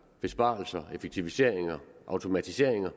besparelser effektiviseringer automatisering det